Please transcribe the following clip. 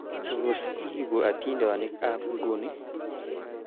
Tos, iibu adintonikab nguni